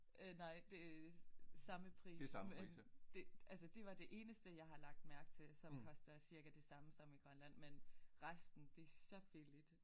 Øj nej det samme pris som det altså det var det eneste jeg har lagt mærke til som koster cirka det samme som i Grønland men resten det så billigt